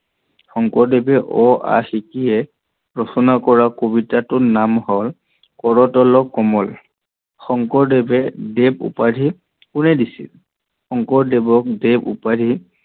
শংকৰদেৱে অ, আ শিকিয়েই ৰচনা কৰা কবিতাটো হল কৰতল কমল। শংকৰদেৱক দেৱ উপাধি কোনে দিছিল? শংকৰদেৱক দেৱ উপাধি